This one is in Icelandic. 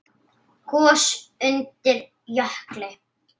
Gos undir jökli